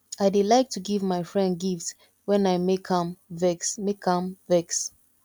i dey like to give my friend gift wen i make am vex make am vex